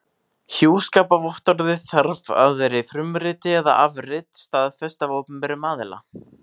Hjúskaparvottorðið þarf að vera í frumriti eða afrit staðfest af opinberum aðila.